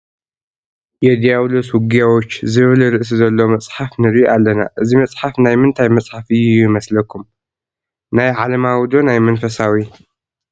የዲያብሎስ ውጊያዎች ዝብል ርእሲ ዘለዎ መፅሓፍ ንርኢ ኣለና፡፡ እዚ መፅሓፍ ናይ ምንታይ መፅሓፍ እዩ ይመስለኩም? ናይ ዓለማዊ ዶ ናይ መንፈሳዊ?